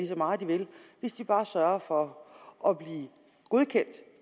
så meget de vil hvis de bare sørger for at blive godkendt